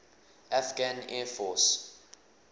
afghan air force